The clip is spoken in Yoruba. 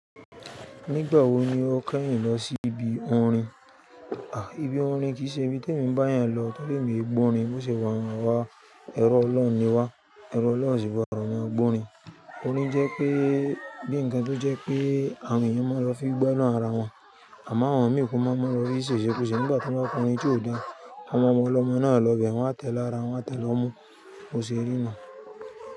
Nígbà wo ni o kẹ́yìn lọ sí ibi orin? À, ibi orin kì ṣe ibi tó emi bá eyan lọ torí èmi o n gbọ́ orin. Bo ṣe wọ́n ma wá, ẹrú ọlọ́run ni wá, ẹrú ọlọ́run ó sì gbọ́dọ̀ má gbọ́ orin. Orin jẹ́ pé bí ǹkan tó jẹ́ pé àwọn èèyàn máa lọ fi gbóná ara wọn. Àmọ́ àwọn mìí kò mọ̀ ọ́n lọ rí sẹ̀sẹ̀ kòsẹ̀. Nígbà tí wọ́n bá k'ọrin tí ò dáa, àwọn ọmọ ọlọ́mọ náà lọ bẹ̀ wọ́n á tẹ̀lé ara wọ́n á tẹ̀lé ọmu, kò ṣe rí náà.